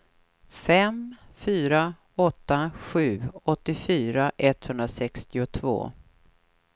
fem fyra åtta sju åttiofyra etthundrasextiotvå